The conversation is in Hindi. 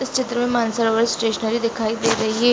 चित्र में मानसरोवर स्टेशनरी दिखाई दे रही हैं।